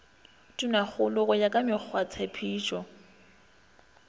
tonakgolo go ya ka mekgwatshepetšo